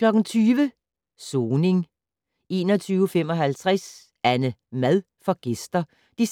20:00: Soning 21:55: AnneMad får gæster (2:2)